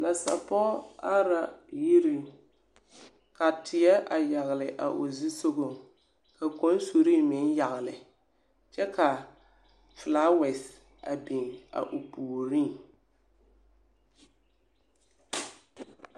Nansapͻge are la yiriŋ, ka teԑ a yagele o zusogͻŋ ka konsurre meŋ yagele kyԑ ka filaawԑse a biŋ a o puoriŋ.